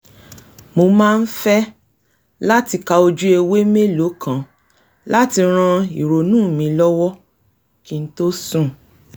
mo máa ń fẹ́ láti ka ojú ewé mélòó kan láti ran ìrònú mi lọ́wọ́ kí n tó sùn